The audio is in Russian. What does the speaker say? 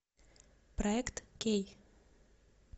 проект кей